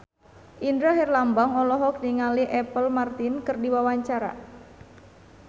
Indra Herlambang olohok ningali Apple Martin keur diwawancara